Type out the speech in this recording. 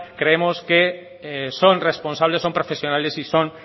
creemos que son responsables son profesionales y son